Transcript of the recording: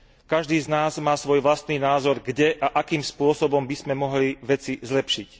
Každý z nás má svoj vlastný názor, kde a akým spôsobom by sme mohli veci zlepšiť.